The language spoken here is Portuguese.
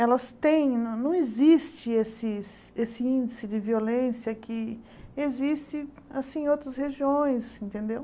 elas têm, não não existe esses esse índice de violência que existe em outras regiões, entendeu?